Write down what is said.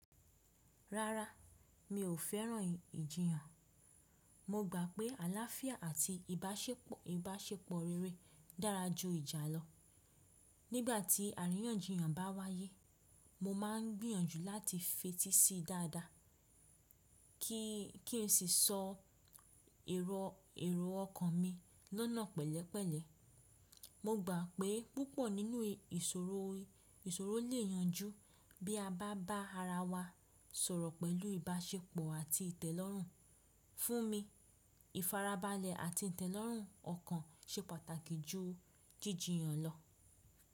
Rárá, mi ò fẹ́ràn ìjiyàn. Mo gbà pé àláfíà àti ìbáṣepọ̀ ìbáṣepọ̀ rere dára ju ìjà lọ. Nígbà tí àríyànjiyàn bá wáyé, mo máà ń gbìyànjú láti fetí sí dáadáa ki kí n sì sọ ero èrò ọkàn mi lọ́nà pẹ̀lẹ́pẹ̀lẹ́. Mo gbà pé púpọ̀ nínú ìṣòro lè yanjú bí a bá bá ara wa sọ̀rọ̀ pẹ̀lú ìbáṣepọ̀ àti ìtẹ́lọ́rùn. Fún mi, ìfarabalẹ̀ àti ìtẹ́lọ́rùn ọkàn ṣe pàtàkì ju jíjiyàn lọ.